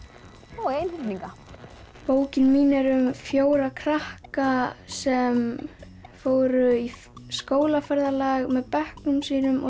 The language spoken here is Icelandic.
og einhyrninga bókin mín er um fjóra krakka sem fóru í skólaferðalag með bekknum sínum og